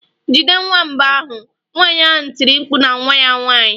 Jide nwamba ahụ!nwanyị ahụ tiri mkpu na nwa ya nwanyị.